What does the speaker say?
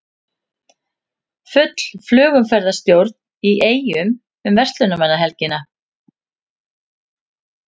Full flugumferðarstjórn í Eyjum um verslunarmannahelgina